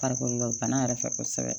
Farikolo la bana yɛrɛ fɛ kosɛbɛ